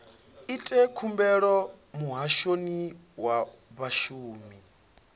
ite khumbelo muhashoni wa vhashumi